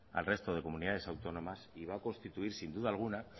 al resto de comunidades autónomas y va a constituir sin duda alguna